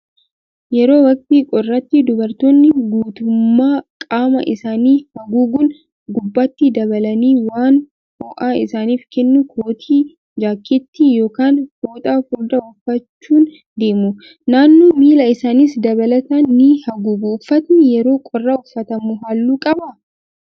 Yeroo waqtii qorraatti dubartoonni guutummaa qaama isaanii haguuguun gubbaatti dabalanii waan ho'a isaaniif kennu kootii, jaakkeettii yookaan fooxaa furdaa uffachuun deemu. Naannoo miila isaaniis dabalataan ni haguugu. Uffatni yeroo qorraa uffatamu halluu qabaa?